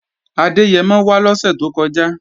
Adẹ́yẹmọ wá lọ́sè tó kọjá